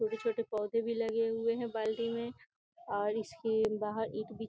छोटे छोटे पौधे भी लगे हुए हैं बाल्टी में और इसके बाहर ईट बी --